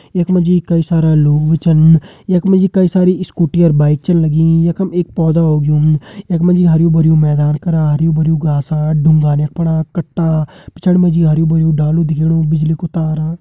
यख मा जी कई सारा लोग छन यख मा जी कई सारी स्कूटी और बाइक छन लगी यखम एक पौधा उग्युं यख मा जी हर्युं भर्युं मैदान करा हर्युं भर्युं घासा ढुङ्गा यख फणा कट्टा पिछाड़ी मा जी हर्युं भर्युं डालो दिखेणु बिजली कु तारा।